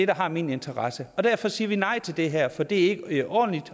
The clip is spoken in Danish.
der har min interesse derfor siger vi nej til det her for det er ikke ordentligt